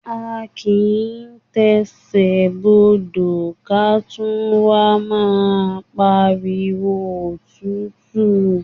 A kìí tẹsẹ̀ bodò ká wá máa pariwo òtútù!